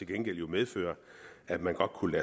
gengæld medføre at man godt kunne